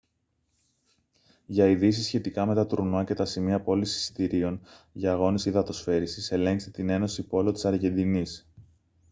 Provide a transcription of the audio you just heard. για ειδήσεις σχετικά με τα τουρνουά και τα σημεία πώλησης εισιτηρίων για αγώνες υδατοσφαίρισης ελέγξτε την ένωση πόλο της αργεντινής